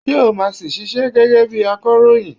Ṣé o máa si ṣiṣẹ́ gẹ́gẹ́ bi akọ̀ròyìn?